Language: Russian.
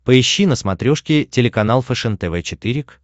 поищи на смотрешке телеканал фэшен тв четыре к